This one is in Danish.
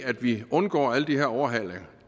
at vi undgår alle de her overhalinger